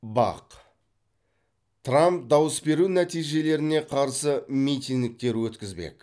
бақ трамп дауыс беру нәтижелеріне қарсы митингтер өткізбек